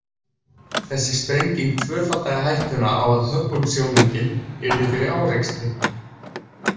Þessi sprenging tvöfaldaði hættuna á að Hubble-sjónaukinn yrði fyrir árekstri.